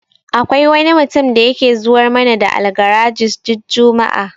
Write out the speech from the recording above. Akwai wani mutum da yake zuwar mana da Algaragis duk juma'a.